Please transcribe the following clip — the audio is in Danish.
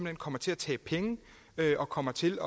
hen kommer til at tabe penge og kommer til